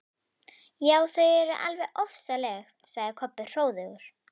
Já, þau eru alveg ofsaleg, sagði Kobbi hróðugur.